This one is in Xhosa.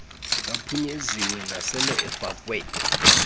aphunyeziweyo nasele efakwe